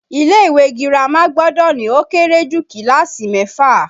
Ilé ìwé girama gbọ́dọ̀ ní ó kéré jù kíláàsì mẹ́fà